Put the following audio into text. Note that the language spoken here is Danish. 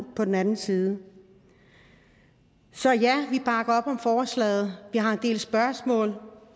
på den anden side så ja vi bakker op om forslaget vi har en del spørgsmål